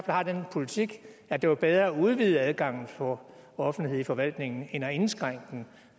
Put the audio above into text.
har den politik at det var bedre at udvide adgangen for offentlighed i forvaltningen end at indskrænke